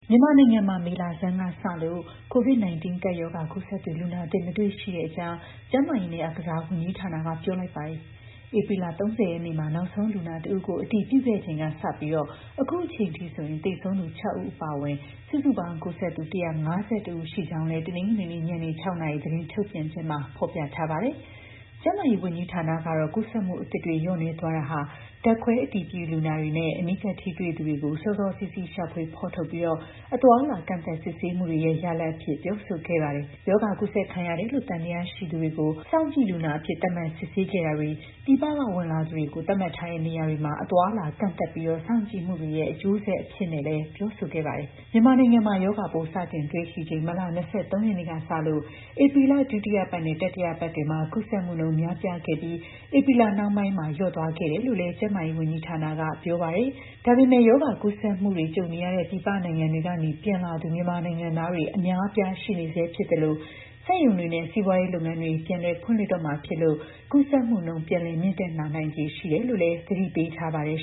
မြန်မာနိုင်ငံမှာ မေလဆန်းကစလို့ COVID-19 ကပ်ရောဂါ ကူးစက်သူ လူနာသစ် ထပ်မတွေ့တော့တဲ့အကြောင်း ကျန်းမာရေးနဲ့ အားကစားဝန်ကြီးဌာနက ပြောလိုက်ပါတယ်။ ဧပြီလ ၃၀ ရက်နေ့မှာ နောက်ဆုံးလူနာ ၁ ဦးကို အတည်ပြုခဲ့ချိန်ကစလို့ အခုအချိန်အထိဆိုရင် သေဆုံးသူ ၆ ဦး အပါအဝင် စုစုပေါင်း ကူးစက်သူ ၁၅၁ ယောက် ရှိကြောင်းလည်း တနင်္ဂနွေနေ့ ညနေ ၆ နာရီ သတင်းထုတ်ပြန်ချက်မှာ ဖော်ပြထားတာပါ။ ကျန်းမာရေး ဝန်ကြီးဌာနကတော့ ကူးစက်မှုအသစ်တွေ လျော့နည်းသွားတာဟာ ဓာတ်ခွဲအတည်ပြု လူနာတွေနဲ့ အနီးကပ်ထိတွေ့သူတွေကို စောစောစီးစီး ရှာဖွေဖော်ထုတ်ပြီး အသွားအလာကန့်သတ်စစ်ဆေးမှုတွေရဲ့ ရလဒ်အဖြစ် ပြောဆိုခဲ့တာပါ။ ရောဂါကူးစက်ခံရတယ်လို့ သံသယရှိသူတွေကို စောင့်ကြည့်လူနာအဖြစ် သတ်မှတ်စစ်ဆေးခဲ့တာတွေ၊ ပြည်ပကဝင်လာသူတွေကို သတ်မှတ်ထားတဲ့ နေရာတွေမှာ အသွားအလာ ကန့်သတ်ထားပြီး စောင့်ကြည့်မှုတွေရဲ့ အကျိုးဆက်အဖြစ်နဲ့လည်း ပြောဆိုခဲ့ပါတယ်။ မြန်မာနိုင်ငံမှာ ရောဂါပိုး စတင်တွေ့ရှိချိန် မတ်လ ၂၃ ရက်နေ့ကစလို့ ဧပြီလ ဒုတိယပတ်နဲ့ တတိယပတ်တွေမှာ ကူးစက်မှုနှုန်း များပြားခဲ့ပြီး ဧပြီလနှောင်းပိုင်းမှာ လျော့သွားခဲ့တယ်လို့လည်း ကျန်းမာရေးဝန်ကြီးဌာနက ပြောပါတယ်။ ဒါပေမယ့် ရောဂါကူးစက်မှုတွေ ကြုံနေရတဲ့ ပြည်ပနိုင်ငံတွေကနေ ပြန်လာသူ မြန်မာနိုင်ငံသားတွေ အများအပြား ရှိနေဆဲဖြစ်သလို စက်ရုံတွေနဲ့ စီးပွားရေး လုပ်ငန်းတွေလည်း ပြန်လည် ဖွင့်လှစ်တော့မှာဖြစ်လို့ ကူးစက်မှုနှုန်း ပြန်လည် မြင့်တက်လာနိုင်ခြေ ရှိတယ်လို့လည်း သတိပေးထားပါတယ်